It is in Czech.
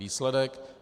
Výsledek?